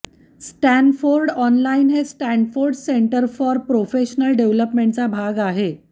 Stanford online हे Stanford center for professional डेव्हल्पमेंटचा भाग आहे